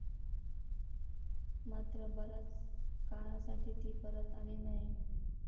मात्र बराच काळासाठी ती परत आली नाही.